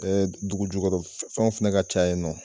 Ee dugu jukɔrɔ fɛnw fɛnɛ ka ca yen nɔ.